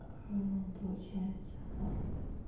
получается